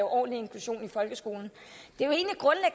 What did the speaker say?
ordentlig inklusion i folkeskolen